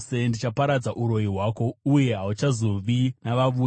Ndichaparadza uroyi hwako uye hauchazovizve navavuki.